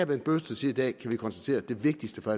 bent bøgsted siger i dag kan vi konstatere at det vigtigste for